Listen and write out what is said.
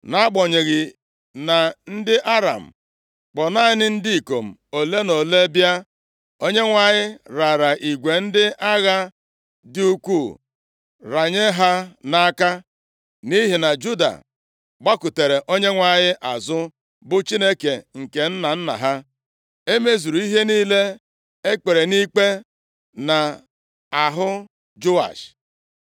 Nʼagbanyeghị na ndị Aram kpọọ naanị ndị ikom ole na ole bịa, Onyenwe anyị raara igwe ndị agha dị ukwuu ranye ha nʼaka. Nʼihi na Juda gbakụtara Onyenwe anyị azụ, bụ Chineke nke nna nna ha, e mezuru ihe niile e kpere nʼikpe nʼahụ Joash.